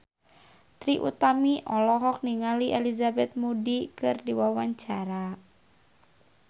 Trie Utami olohok ningali Elizabeth Moody keur diwawancara